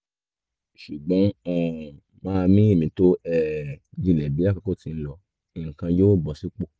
ṣùgbọ́n um máa mí èémí tó um jinlẹ̀ bí àkókò ti ń lọ nǹkan yóò bọ sípò